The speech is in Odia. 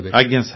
ଆଜ୍ଞା ସାର୍